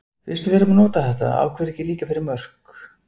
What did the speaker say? Fyrst við erum að nota þetta, af hverju ekki líka fyrir mörk?